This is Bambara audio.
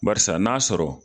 Barisa n'a sɔrɔ